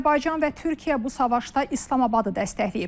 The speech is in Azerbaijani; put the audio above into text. Azərbaycan və Türkiyə bu savaşda İslamabadı dəstəkləyib.